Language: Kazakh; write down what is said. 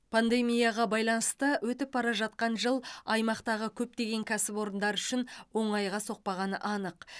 пандемияға байланысты өтіп бара жатқан жыл аймақтағы көптеген кәсіпорындар үшін оңайға соқпағаны анық